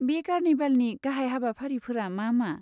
बे कार्निभेलनि गाहाय हाबाफारिफोरा मा मा?